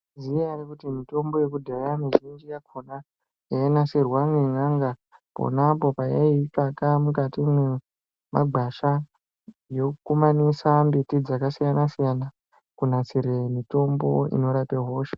Dzinyari kuti mitombo yekudhaya mizhinji yakona yainasirwe ngen'anga ponapo payaitsvake mukati memagwasha yokumanise miti dzkasiyana siyana kunasire mutombo unorape hosha.